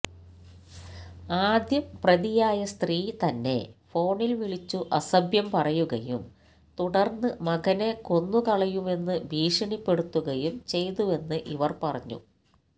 ആദ്യം പ്രതിയായ സ്ത്രീ തന്നെ ഫോണില് വിളിച്ചു അസഭ്യം പറയുകയും തുടര്ന്ന് മകനെ കൊന്നുകളയുമെന്നു ഭീഷണി പെടുത്തുകയും ചെയ്തുവെന്ന്ഇവര് പറഞ്ഞു